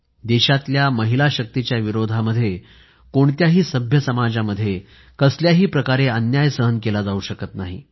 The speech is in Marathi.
देशातल्या महिलाशक्तीच्या विरोधामध्ये कोणत्याही सभ्य समाजामध्ये कसल्याही प्रकारे अन्याय सहन केला जाऊ शकत नाही